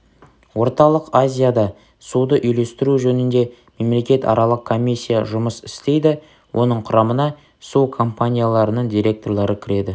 орталық азияда суды үйлестіру жөнінде мемлекетаралық комиссия жұмыс істейді оның құрамына су компанияларының директорлары кіреді